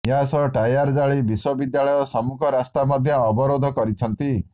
ଏହାସହ ଟାୟାର ଜାଳି ବିଶ୍ୱବିଦ୍ୟାଳୟ ସମ୍ମୁଖ ରାସ୍ତା ମଧ୍ୟ ଅବରୋଧ କରିଛନ୍ତି